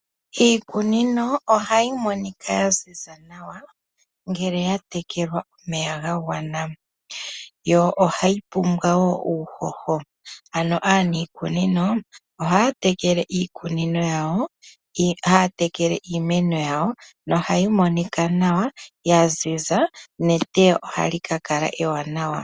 Iikunino ohayi monika ya ziza nawa ngele ya tekelwa omeya ga gwana, yo ohayi pumbwa woo uuhoho. Ano aanikunino ohaa tekele iikunino yawo, haya tekele iimeno yawo nohayi monika nawa ya ziza, neteyo ohali ka kala ewanawa.